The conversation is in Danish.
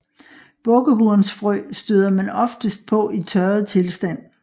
Bukkehornsfrø støder man oftest på i tørret tilstand